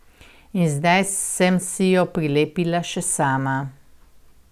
In zdaj sem si jo prilepila še sama.